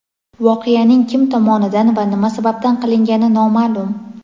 Voqeaning kim tomonidan va nima sababdan qilingani noma’lum.